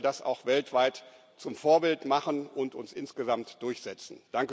Dann können wir das auch weltweit zum Vorbild machen und uns insgesamt durchsetzen.